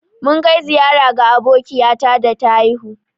Mun kai ziƴara ga abokiƴata da ta haihu.